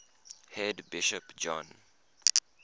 head bishop john